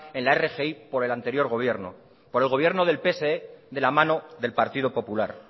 en la rgi por el anterior gobierno por el gobierno del pse de la mano del partido popular